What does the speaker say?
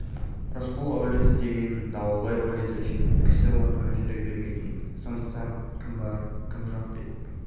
рысқұл әулеті деген дауылбай әулеті үшін кісі орнына жүре бермейтін сондықтан кім бар кім жоқ деп